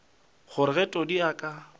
gore ge todi a ka